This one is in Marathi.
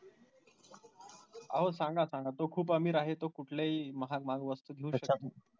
अहो सांगा सांगा तो खूप अमीर आहे तो कुठलेही महाग महाग वस्तू घेऊ शकतो.